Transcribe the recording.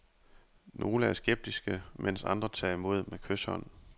Nogle er skeptiske, mens andre tager imod med kyshånd.